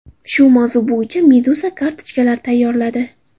shu mavzu bo‘yicha Meduza kartochkalar tayyorladi .